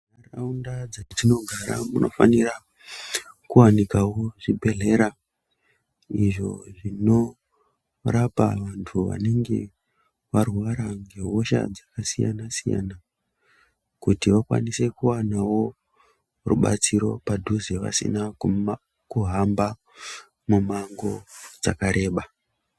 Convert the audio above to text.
Mundau dzatinogara munofanira kuwanikawo zvibhedhlera izvo zvinorapa vantu vanege varwara ngehosha dzakasiyana siyana kuti vakwanise kuwanawo rubatsiro padhuze vasina kuhamba mimango dzakareba .